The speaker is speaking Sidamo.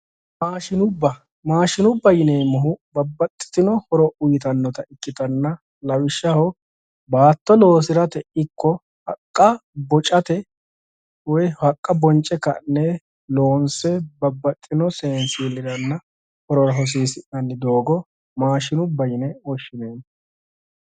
Maashinubba yinannihu babbaxxitino horo uyiitannota ikkitanna lawishshaho baatto loosirate ikko haqqa bocatewoy haqqa bonce ka'ne babbaxxitino seensilliranna horora hosiisi'nanni doogo maashinubba yineemmo